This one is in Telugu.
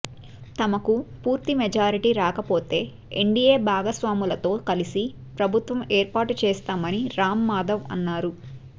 తమకు పూర్తి మెజార్టీ రాకపోతే ఎన్డిఎ భాగస్వాములతో కలసి ప్రభుత్వం ఏర్పాటు చేస్తామని రామ్ మాధవ్ అన్నారు